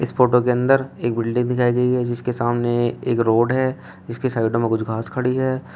Photo के अंदर एक बिल्डिंग दिखाई गई है जिसके सामने एक रोड है जिसके साइड में कुछ घास खड़ी है।